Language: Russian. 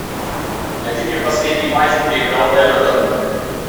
найди мне последний матч где играл эвертон